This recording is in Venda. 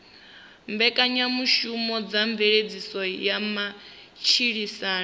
mbekanyamushumo dza mveledziso ya matshilisano